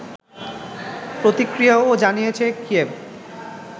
প্রতিক্রিয়াও জানিয়েছে কিয়েভ